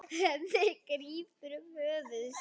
Hemmi grípur um höfuð sér.